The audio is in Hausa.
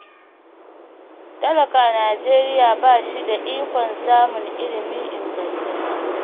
Talaka a Najeriya ba shi da ikon samun ilimi ingantacce